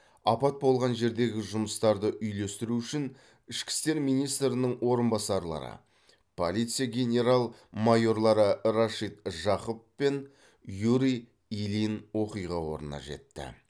апат болған жердегі жұмыстарды үйлестіру үшін ішкі істер министрінің орынбасарлары полиция генерал майорлары рашид жақып пен юрий ильин оқиға орнына жетті